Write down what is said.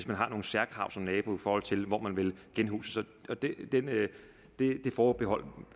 man har nogle særkrav som nabo i forhold til hvor man vil genhuses og det forbehold